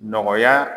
Nɔgɔya